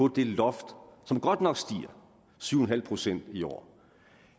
det loft som godt nok stiger syv procent i år